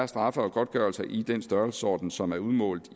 straffe og godtgørelser i den størrelsesorden som er udmålt